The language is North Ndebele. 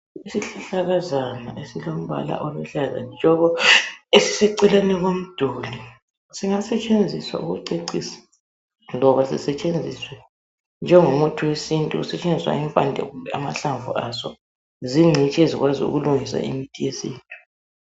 Isihlahlakazana esilombala oluhlaza tshoko, esiseceleni komduli. Singasetshenziswa ukucecisa loba sisetshenziswe njengo muthi wesintu kusetshenziswa impande kumbe amahlamvu aso zingcitshi ezikwazi ukulungisa imithi yesintu.